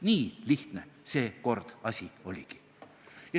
Nii lihtne seekord asi oligi.